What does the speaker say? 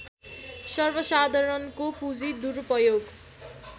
सर्वसाधारणको पुँजी दुरूपयोग